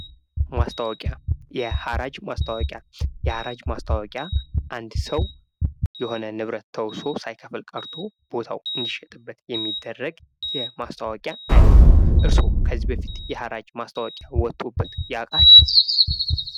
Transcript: ማስታወቂያ የሐራጅ ማስታወቂያ የሀራጅ ማስታወቂያ አንድ ሰው የሆነ ንብረት ተውሶ ሳይከፍል ቀርቶ እንዲሸጥበት የሚደረግ የማስታወቂያ አይነት ነው። እርስዎ ከዚህ በፊት የሐራጅ ማስታወቂያ ወቶብዎት ያውቃሉ?